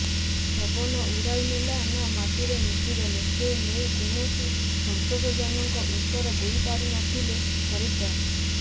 ପବନ ଉଡାଇନେଲା ନା ମାଟିରେ ମିଶିଗଲେ ସେ ନେଇ କୌଣସି ସନ୍ତୋଷଜନକ ଉତର ଦେଇପାରୁନଥିଲେ ଫରେଷ୍ଟର